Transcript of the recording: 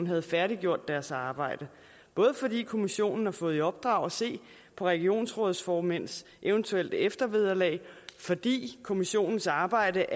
havde færdiggjort deres arbejde både fordi kommissionen har fået i opdrag at se på regionsrådsformænds eventuelle eftervederlag og fordi kommissionens arbejde